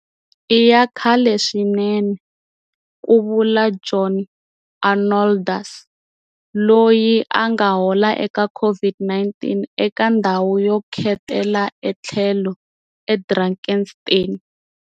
I ya kahle swinene, ku vula John Arnoldus, loyi a nga hola eka COVID-19 eka ndhawu yo khetela ethlhelo eDrakenstein.